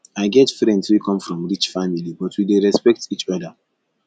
i get friends wey come from rich family but we dey respect each oda